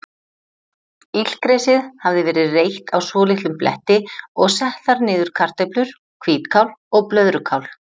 Illgresið hafði verið reytt á svolitlum bletti og sett þar niður kartöflur, hvítkál og blöðrukál.